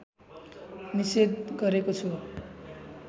निषेध गरेको छु